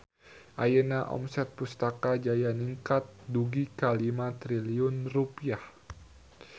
Ayeuna omset Pustaka Jaya ningkat dugi ka 5 triliun rupiah